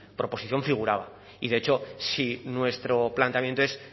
proposición figuraba y de hecho si nuestro planteamiento es